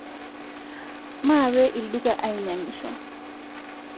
Maape lduka ainyang'isho